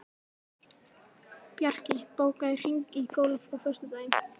Bjarki, bókaðu hring í golf á föstudaginn.